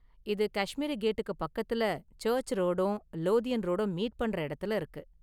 இது காஷ்மீரி கேட்டுக்கு பக்கத்துல, சர்ச்சு ரோடும், லோதியன் ரோடும் மீட் பண்ற இடத்துல இருக்கு.